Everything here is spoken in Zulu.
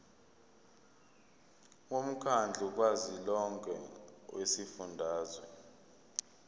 womkhandlu kazwelonke wezifundazwe